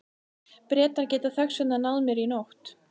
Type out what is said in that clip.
Bretar geta þess vegna náð mér í nótt.